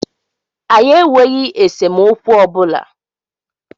Anyi enweghi esemokwu ọbụla